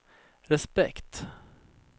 respekt